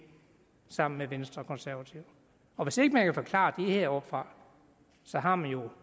sammen med venstre og konservative og hvis ikke man kan forklare det heroppefra har man jo